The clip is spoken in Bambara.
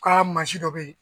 K'a mansi dɔ bɛyi.